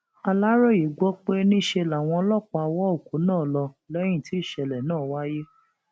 aláròye gbọ pé níṣe làwọn ọlọpàá wọ òkú náà lọ lẹyìn tí ìṣẹlẹ náà wáyé